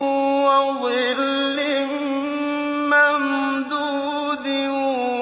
وَظِلٍّ مَّمْدُودٍ